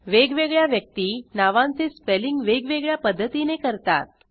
वेगवेगळ्या व्यक्ती नावांचे स्पेलिंग वेगवेगळ्या पध्दतीने करतात